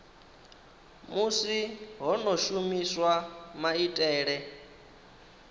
musi ho no shumiswa maitele